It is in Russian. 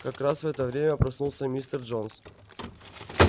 как раз в это время проснулся мистер джонс